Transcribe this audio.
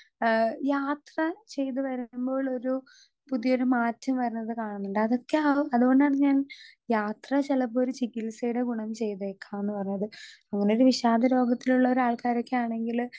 Speaker 2 ഏ യാത്ര ചെയ്ത് വെരുമ്പോളൊരു പുതിയൊരു മാറ്റം വെരുന്നത് കാണുന്നുണ്ട് അതൊക്കെയാവും അതുകൊണ്ടാണ് ഞാൻ യാത്ര ചെലപ്പൊരു ചികിത്സേടെ ഗുണം ചെയ്തേക്കാംന്ന് പറഞ്ഞത് അങ്ങനെയൊരു വിഷാദ രോഗത്തിലുള്ള ഒരാൾക്കാരൊക്കെയാണെങ്കില്.